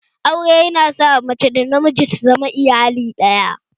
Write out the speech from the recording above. Aure yana sa mace da namiji su zama iyali ɗaya